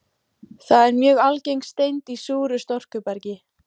Það er mjög algeng steind í súru storkubergi.